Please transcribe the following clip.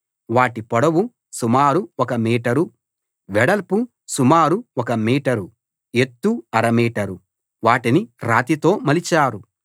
వాటి పొడవు సుమారు ఒక మీటరు వెడల్పు సుమారు ఒక మీటరు ఎత్తు అర మీటరు వాటిని రాతితో మలిచారు